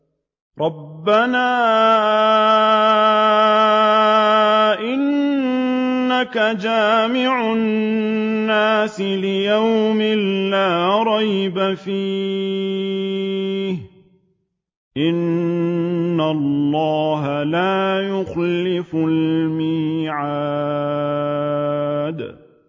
رَبَّنَا إِنَّكَ جَامِعُ النَّاسِ لِيَوْمٍ لَّا رَيْبَ فِيهِ ۚ إِنَّ اللَّهَ لَا يُخْلِفُ الْمِيعَادَ